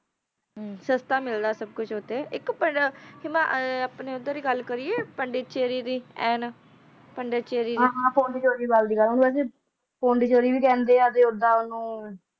ਕੁਝ ਅਤੇ ਇੱਕ ਭੈਣ ਆਪਣੇ ਗੱਲ ਕਰੀਏ